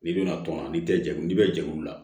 N'i bɛna tɔn n'i tɛg'u n'i bɛ jɛkulu la